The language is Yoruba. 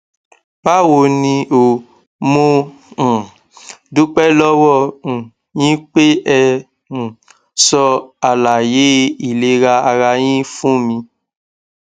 báwo ni o mo um dúpẹ lọwọ um yín pé ẹ um sọ àlàyé ìlera ara yín fún mi